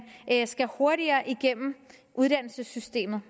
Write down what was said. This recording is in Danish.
skal hurtigere igennem uddannelsessystemet